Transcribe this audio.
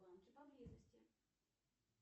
банки поблизости